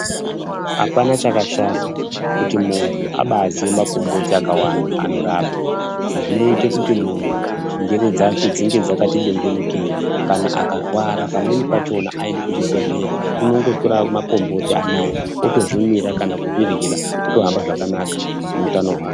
Apana chakashata, kuti munthu abaaziya makomboti akawanda anorapa, izvi zvinoite kuti munthu njere dzake dzinge dzakati bengenukeyi, kana akarwara, pamweni pachona aendi kuchibhedhleya, unongotora makomboti anaa ozvimwira kana kuzviryira, zvotohamba zvakanaka muutano hwake.